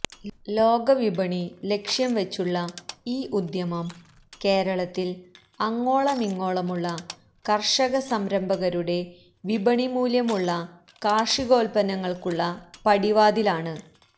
ലോകവിപണി ലക്ഷ്യം വച്ചുള്ള ഈ ഉദ്യമം കേരളത്തിൽ അങ്ങോളമിങ്ങോളമുള്ള കർഷക സംരംഭകരുടെ വിപണിമൂല്യമുള്ള കാർഷികോൽപ്പന്നങ്ങൾക്കുള്ള പടിവാതിലാണ്